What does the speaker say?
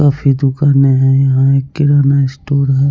काफी दुकाने हैं यहाँ एक किराना स्टोर है।